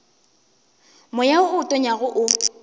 moya wo o tonyago o